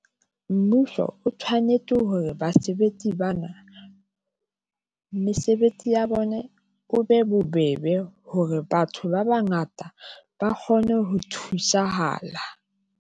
Mmuso o tshwanetse hore basebetsi bana mesebetsi ya bone, o be bobebe hore batho ba bangata ba kgone ho thusahala.